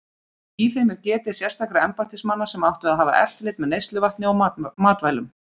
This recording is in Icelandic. Í þeim er getið sérstakra embættismanna sem áttu að hafa eftirlit með neysluvatni og matvælum.